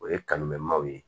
O ye kanu mɛn maaw ye